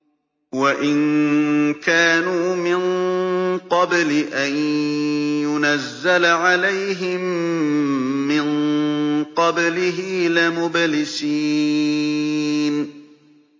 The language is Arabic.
وَإِن كَانُوا مِن قَبْلِ أَن يُنَزَّلَ عَلَيْهِم مِّن قَبْلِهِ لَمُبْلِسِينَ